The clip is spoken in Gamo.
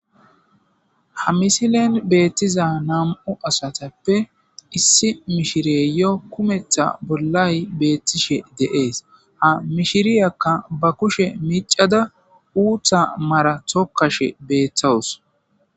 ha misilen beettiza nam7u asatappe issi mishire yo kumetha bollay beettishe de7ees ha mishiriyakka ba kushe miicada uutha mara tokashe beeththawus